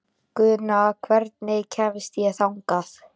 Guðna, hvernig kemst ég þangað?